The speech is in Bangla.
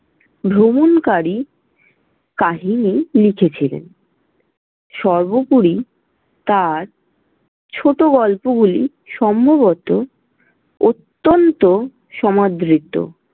ভ্রমণকারী কাহিনী লিখেছিলেন। সর্বোপরি তাঁর ছোটগল্পগুলি সম্ভবত অত্যন্ত সমাদৃত।